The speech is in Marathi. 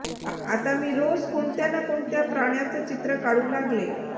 आता मी रोज कोणत्या ना कोणत्या प्राण्याचं चित्र काढू लागले